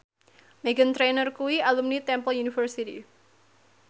Meghan Trainor kuwi alumni Temple University